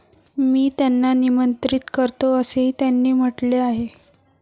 मी त्यांना निमंत्रित करतो, असेही त्यांनी म्हटले आहे.